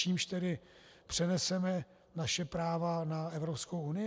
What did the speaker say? Čímž tedy přeneseme naše práva na Evropskou unii?